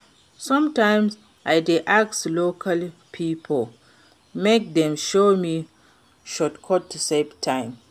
Sometimes I dey ask local pipo make dem show me shortcuts to save time.